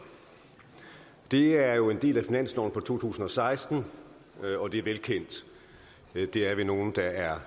det er jo en del af finansloven for to tusind og seksten og det er velkendt det er vi nogle der er